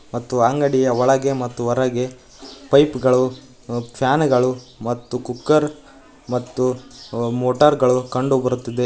ಮತ್ತು ಅಂಗಡಿಯ ಒಳಗೆ ಮತ್ತು ಹೊರಗೆ ಪೈಪ್ ಗಳು ಫ್ಯಾನ್ ಗಳು ಮತ್ತು ಕುಕ್ಕರ್ ಮತ್ತು ಮೋಟಾರ್ ಗಳು ಕಂಡು ಬರುತ್ತಿದೆ.